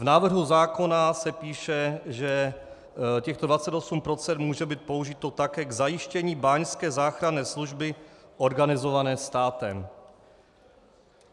V návrhu zákona se píše, že těchto 28 % může být použito také k zajištění báňské záchranné služby organizované státem.